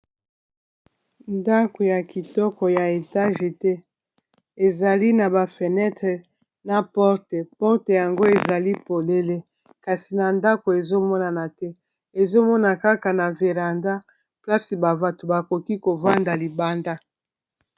ndako ya kitoko ya etage ete ezali na bafenetre na porte porte yango ezali polele kasi na ndako ezomonana te ezomona kaka na veranda plasi bavato bakoki kovanda libanda